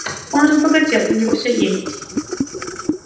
он разбогател у него все есть